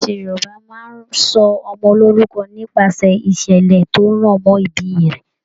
Iṣẹṣe Yorùbá máa n sọ ọmọ lorúkọ nipasẹ ìṣẹlẹ tó rọ mọ ibí rẹ.